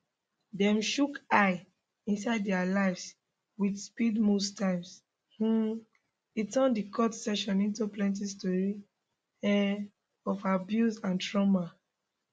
dem chook eye inside dia lives with speed most times um e turn di court session into plenti stories um of abuse and trauma